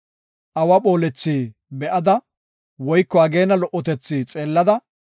Awa phoolethi be7ada, woyko ageena lo77otethi xeellada,